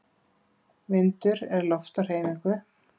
Vindur er loft á hreyfingu.